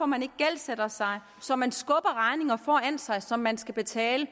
man ikke gældsætter sig så man skubber regninger foran sig som man skal betale